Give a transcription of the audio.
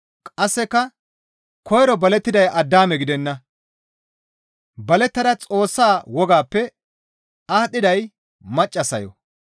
Qasseka koyro balettiday Addaame gidenna; balettada Xoossa wogaappe aadhdhiday maccassayo.